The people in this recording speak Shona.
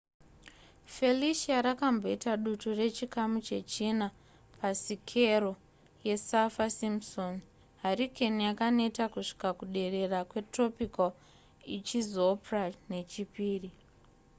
felicia rakamboita dutu rechikamu chechina pa sikero yesaffir-simpson hurricane yakaneta kusvika kuderera kwetropical ichizopra nechipiri